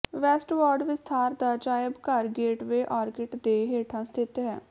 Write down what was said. westward ਵਿਸਥਾਰ ਦਾ ਅਜਾਇਬ ਘਰ ਗੇਟਵੇ ਆਰਕੀਟ ਦੇ ਹੇਠਾਂ ਸਥਿਤ ਹੈ